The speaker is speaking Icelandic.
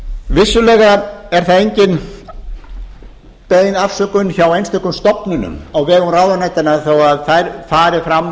vissulega er það engin bein afsökun hjá einstökum stofnunum á vegum ráðuneytanna þó að þær fari fram